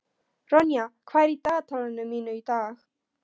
Ronja, hvað er í dagatalinu mínu í dag?